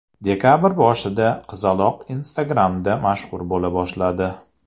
Dekabr boshida qizaloq Instagram’da mashhur bo‘la boshladi.